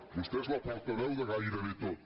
vostè és la portaveu de gairebé tot